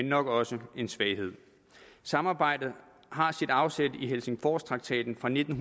nok også en svaghed samarbejdet har sit afsæt i helsingforstraktaten fra nitten